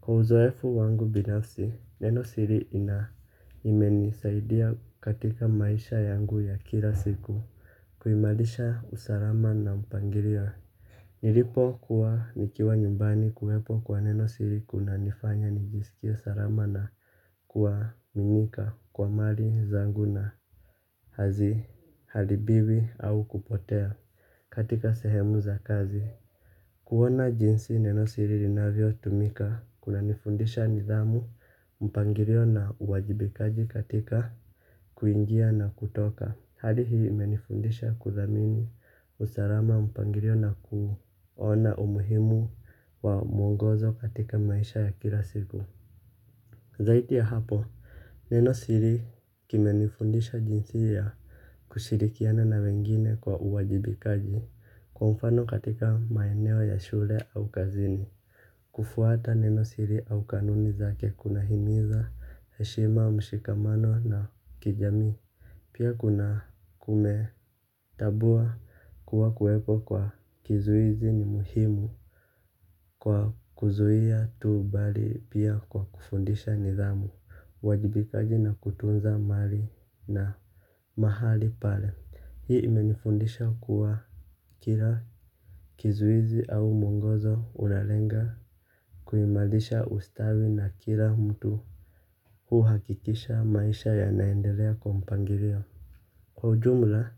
Kwa uzoefu wangu binafsi, neno siri ina imenisaidia katika maisha yangu ya kila siku. Kuimarisha usalama na mpangilio nilipo kuwa nikiwa nyumbani kuwepo kwa neno siri kuna nifanya nijisikie salama na kuwaminika kwa mali zangu na hazi haribiwi au kupotea katika sehemu za kazi kuona jinsi neno siri linavyotumika kunanifundisha nidhamu mpangilio na uwajibikaji katika kuingia na kutoka. Hali hii imenifundisha kudhamini usalama mpangilio na kuona umuhimu wa mwogozo katika maisha ya kila siku zaidi ya hapo neno siri kimenifundisha jinsi ya kushirikiana na wengine kwa uwajibikaji kwa mfano katika maeneo ya shule au kazini. Kufuata neno siri au kanuni zake kuna himiza, heshima, mshikamano na kijamii. Pia kuna kumetambua kuwa kuweko kwa kizuizi ni muhimu kwa kuzuia tuu bali pia kwa kufundisha nidhamu. Uwajibikaji na kutunza mali na mahali pale hii imenifundisha kuwa Kila Kizuizi au mwongozo unalenga kuimarisha ustawi na kila mtu huhakikisha maisha ya naendelea kwa mpangilio. Kwa ujumla.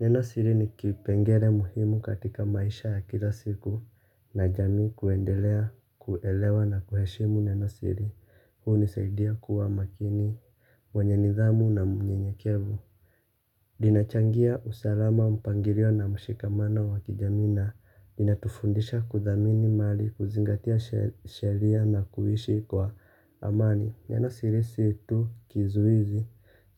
Neno siri ni kipengele muhimu katika maisha ya kila siku na jamii kuendelea kuelewa na kuheshimu neno siri hunisaidia kuwa makini. Mwenye nidhamu na mnyenyekevu linachangia usalama mpangilio na mshikamano wa kijamii na linatufundisha kudhamini mali, kuzingatia sheria na kuishi kwa amani. Neno siri si tu kizuizi,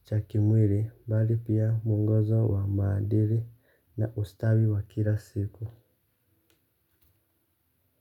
cha kimwili, bali pia mungozo wa maadili na ustawi wa kila siku.